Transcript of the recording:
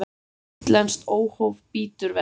Útlenskt óhóf bítur verst.